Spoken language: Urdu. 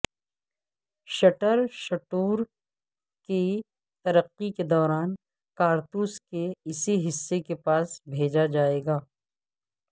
شٹر سٹور کی ترقی کے دوران کارتوس کے اسی حصے کے پاس بھیجا جائے گا